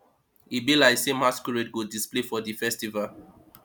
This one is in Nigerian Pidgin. e be like sey masquerade go display for di festival